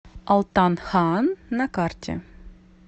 алтан хаан на карте